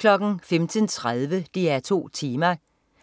15.30 DR2 Tema: